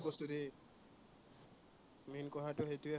main কথাটো সেইটোৱেই হয়।